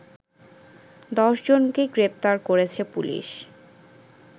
১০ জনকে গ্রেপ্তার করেছে পুলিশ